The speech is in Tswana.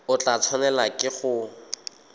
o tla tshwanelwa ke go